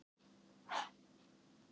Draugurinn og tóbakskyllirinn